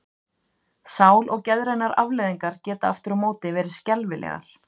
Sál- og geðrænar afleiðingar geta aftur á móti verið skelfilegar.